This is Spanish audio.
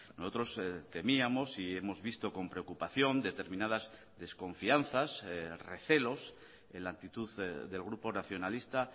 nosotros temíamos y hemos visto con preocupación determinadas desconfianzas recelos en la actitud del grupo nacionalista